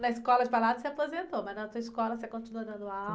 Na escola de bailados se aposentou, mas na sua escola você continua dando aula?